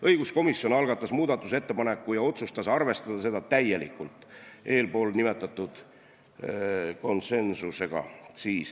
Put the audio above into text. Õiguskomisjon algatas muudatusettepaneku ja otsustas arvestada seda täielikult eelnimetatud konsensusega.